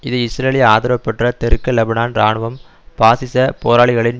இது இஸ்ரேலிய ஆதரவு பெற்ற தெற்கு லெபனான் இராணுவம் பாசிச போராளிகளின்